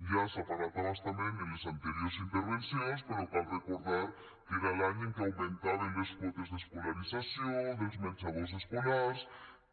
ja se n’ha parlat a bastament en les anteriors intervencions però cal recordar que era l’any en què augmentaven les quotes d’escolarització dels menjadors escolars